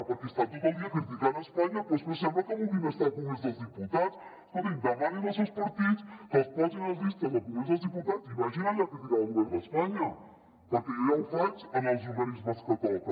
perquè estan tot el dia criticant espanya però és que sembla que vulguin estar al congrés dels diputats escoltin demanin als seus partits que els posin a les llistes del con·grés dels diputats i vagin allà a criticar el govern d’espanya perquè jo ja ho faig en els organismes que toca